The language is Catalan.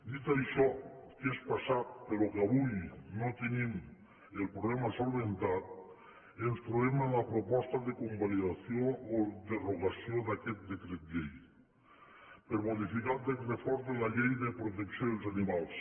dit això que és passat però que avui no tenim el problema solucionat ens trobem amb la proposta de convalidació o derogació d’aquest decret llei per modificar el text refós de la llei de protecció dels animals